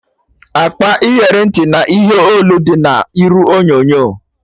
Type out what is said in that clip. Akpa iyeri ntị na ihe olu dị na iru onyonyo